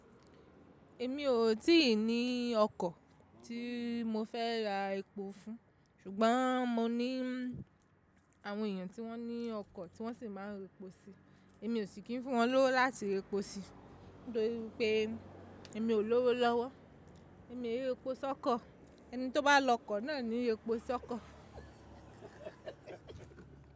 Èmi ò tí ì ní ọkọ̀ tí mo fẹ́ ra epo fún, ṣùgbọ́n mo ní àwọn èèyàn tí wọ́n ní ọkọ̀ tí wọ́n sì máa ń reposi. Èmi ò sì kí ń fún wọn lówó láti reposi, nítorí pé èmi ò lówó lọ́wọ́. Èmi èrè epo sọ́kọ̀, ẹni tí ó bá lọ kọ̀ náà ni repo sọ́kọ̀.